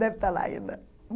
Deve estar lá ainda.